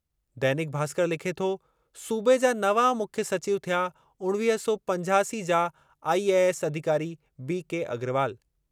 दैनिक भास्कर लिखे थो सूबे जा नवां मुख्य सचिव थिया उणिवीह सौ पंजासी जा आईएएस अधिकारी बी के अग्रवाल।